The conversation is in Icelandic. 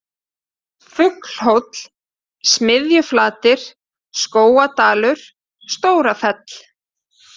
Fuglhóll, Smiðjuflatir, Skógadalur, Stórafell